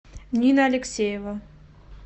нина алексеева